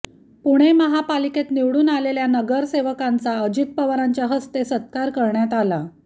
पुणे महापालिकेत निवडून आलेल्या नगरसेवकांचा अजित पवारांच्या हस्ते सत्कार करण्यात आला